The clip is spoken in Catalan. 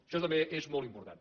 això també és molt important